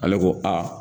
Ale ko a